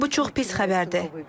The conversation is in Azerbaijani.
Bu çox pis xəbərdir.